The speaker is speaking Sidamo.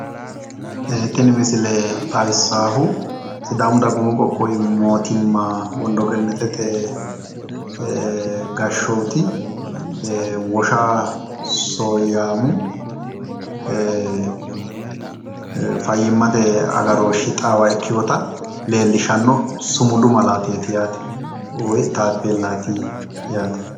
Tini misile xawissaahu sidaamu dagoomi qoqqowi motiimma wondo gennetete gashshooti wosha soyyaamu fayyimmate agarooshshi xaawa ikkeyota leellishshanno sumudu malaateeti yaate. woyi taappellaati yaate.